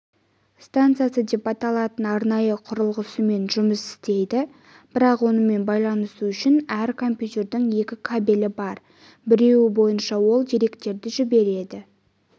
стансасы деп аталатын арнайы құрылғысымен жұмыс істейді бірақ онымен байланысу үшін әр компьютердің екі кабелі бар біреуі бойынша ол деректерді жібереді